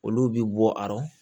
Olu bi bɔ arɔ